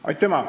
Aitüma!